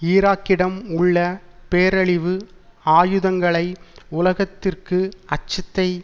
ஈராக்கிடம் உள்ள பேரழிவு ஆயுதங்களை உலகத்திற்கு அச்சத்தை